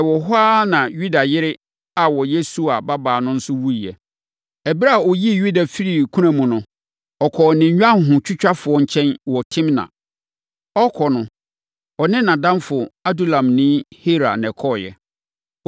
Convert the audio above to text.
Ɛwɔ hɔ ara na Yuda yere a ɔyɛ Sua babaa no nso wuiɛ. Ɛberɛ a wɔyii Yuda firii kuna mu no, ɔkɔɔ ne nnwanhotwitwafoɔ nkyɛn wɔ Timna. Ɔrekɔ no, ɔne nʼadamfo Adulamni Hira na ɛkɔeɛ.